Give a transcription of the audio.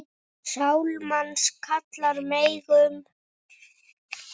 Sál manns kalla megum.